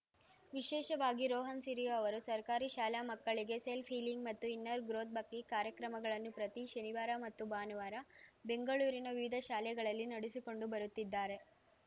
ವಿಶೇಷವಾಗಿ ರೋಹನ್ ಸಿರಿ ಅವರು ಸರ್ಕಾರಿ ಶಾಲಾ ಮಕ್ಕಳಿಗೆ ಸೆಲ್ಫ್ ಹೀಲಿಂಗ್ ಮತ್ತು ಇನ್ನರ್ ಗ್ರೋಥ್ ಬಗ್ಗೆ ಕಾರ್ಯಕ್ರಮಗಳನ್ನು ಪ್ರತಿ ಶನಿವಾರ ಮತ್ತು ಭಾನುವಾರ ಬೆಂಗಳೂರಿನ ವಿವಿಧ ಶಾಲೆಗಳಲ್ಲಿ ನಡೆಸಿಕೊಂಡು ಬರುತ್ತಿದ್ದಾರೆ